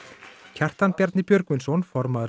Kjartan Bjarni Björgvinsson formaður